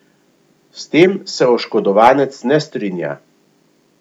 S tem se oškodovanec ne strinja.